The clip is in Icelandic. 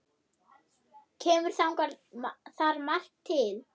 Kemur þar margt til.